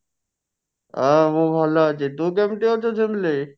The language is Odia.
ହଁ ମୁଁ ଭଲ ଅଛି ତୁ କେମିତି ଅଛୁ ଝିମଲି?